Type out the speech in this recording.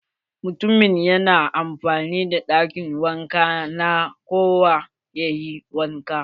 Mutumin yana amfani da ɗakin wanka na kowa yayi wanka.